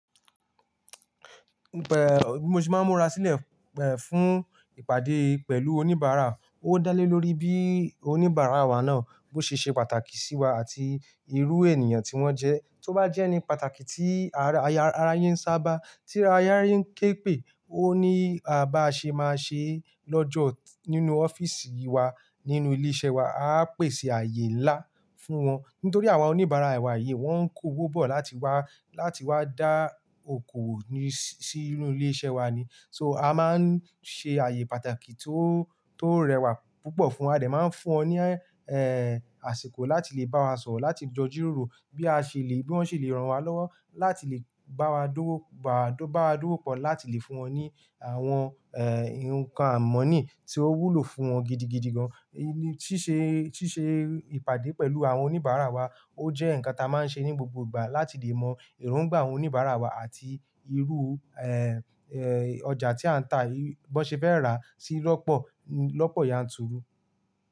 Bí mo sé máa ń múra sílẹ̀, fún ìpàdé pẹ̀lú oníbàárà. Ó dá lé lórí bí oníbàárà wa náà bó ṣe ṣe pàtàkì sí wa àti irú ènìyàn tí wọ́n jẹ́. Tí ó bá jẹ́ ẹni pàtàkì tí ara ayé ń sábà, tí ara ayé ń ké pè, ó ní bá ṣe máa ṣe lọ́jọ́ nínú ọ́fíìsì wa, nínú ilé iṣẹ́ wa. A á pèsè ààyè ńlá fún wọn, nítorí àwọn oníbàárà wà yí wọ́n ń kó owó bọ̀ láti wá, láti wá dá okò òwò sí inú ilé iṣẹ́ wa ni. So a máa ń ṣe ààyè pàtàkì tó, tó rẹwà púpọ̀ fún A jẹ máa ń fún wọn ní, àsìkò láti lè bá wa sọ̀rọ̀, láti jọ jíróró bí a ṣe lè, bí wọ́n ṣe lè ran wa lọ́wọ́ láti lè bá wa dòwo, bá wa dòwo pọ̀ láti lè fún wọn ní àwọn, nǹkan àmọ̀nì tí ó wúlò fún wọn gidigidi gan. Sí ṣe, sí ṣe ìpàdé pẹ̀lú àwọn oníbàárà wa ó jẹ́ nǹkan tí a máa ń ṣe ní gbogbo ìgbà láti lè mọ èrò igbà àwọn oníbàárà wa àti irú, ọjà tí à ń tá, bí wọ́n ṣe fẹ́ rà sí lọ́pọ̀, lọ́pọ̀ yanturu.